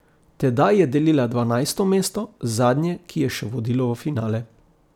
Tedaj je delila dvanajsto mesto, zadnje, ki je še vodilo v finale.